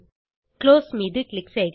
close மீது click செய்க